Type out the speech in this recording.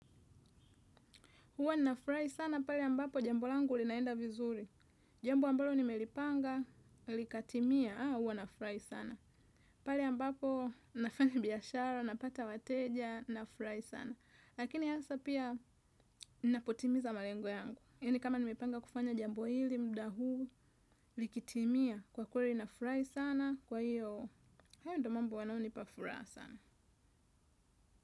Huwa nafurahi sana pale ambapo jambo langu linaenda vizuri. Jambo ambalo nimelipanga likatimia huwa nafurahi sana. Pale ambapo nafanya biashara napata wateja nafurahi sana. Lakini hasa pia ninapotimiza malengo yangu. Yani kama nimepanga kufanya jambo hili muda huu likitimia kwa kweli nafurahi sana kwa hiyo. Hayo ndo mambo yanayo nipa furaha sana.